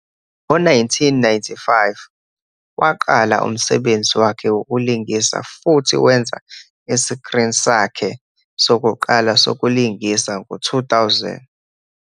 Ngo-1995, waqala umsebenzi wakhe wokulingisa futhi wenza isikrini sakhe sokuqala sokulingisa ngo-2000.